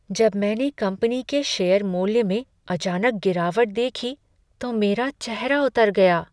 जब मैंने कंपनी के शेयर मूल्य में अचानक गिरावट देखी तो मेरा चेहरा उतर गया।